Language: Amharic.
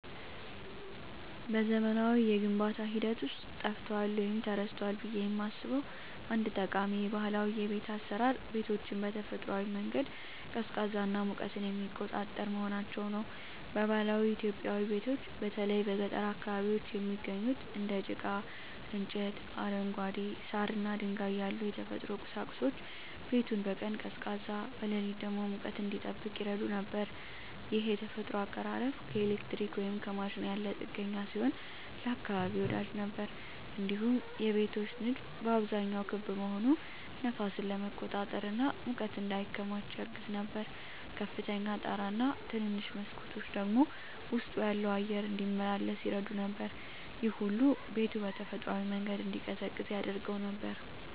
በዘመናዊው የግንባታ ሂደት ውስጥ ጠፍቷል ወይም ተረስቷል ብዬ የማስበው አንድ ጠቃሚ ባህላዊ የቤት አሰራር ቤቶችን በተፈጥሯዊ መንገድ ቀዝቃዛና ሙቀትን የሚቆጣጠር መሆናቸው ነው። በባህላዊ ኢትዮጵያዊ ቤቶች በተለይ በገጠር አካባቢዎች የሚገኙት እንደ ጭቃ፣ እንጨት፣ አረንጓዴ ሳር እና ድንጋይ ያሉ የተፈጥሮ ቁሳቁሶች ቤቱን በቀን ቀዝቃዛ፣ በሌሊት ደግሞ ሙቀት እንዲጠብቅ ይረዱ ነበር። ይህ የተፈጥሮ አቀራረብ ከኤሌክትሪክ ወይም ከማሽን ያለ ጥገኛ ሲሆን ለአካባቢ ወዳጅ ነበር። እንዲሁም የቤቶች ንድፍ በአብዛኛው ክብ መሆኑ ነፋስን ለመቆጣጠር እና ሙቀት እንዳይከማች ያግዝ ነበር። ከፍተኛ ጣራ እና ትንንሽ መስኮቶች ደግሞ ውስጡ ያለው አየር እንዲመላለስ ይረዱ ነበር። ይህ ሁሉ ቤቱ በተፈጥሯዊ መንገድ እንዲቀዝቅዝ ያደርገው ነበር።